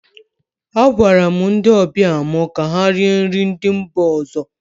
Agwara m ndị ọbịa mụ ka ha rie nri ndị mba ọzọ